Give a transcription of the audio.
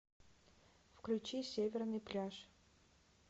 включи северный пляж